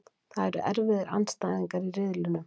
Það eru erfiðir andstæðingar í riðlinum.